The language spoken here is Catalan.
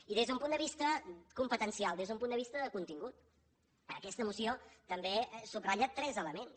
i des d’un punt de vista competencial des d’un punt de vista de contingut aquesta moció també subratlla tres elements